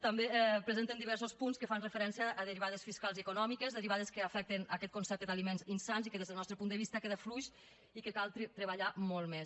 també presenten diversos punts que fan referència a derivades fiscals i econòmiques derivades que afecten aquest concepte d’aliments insans i que des del nostre punt de vista queda fluix i que cal treballar molt més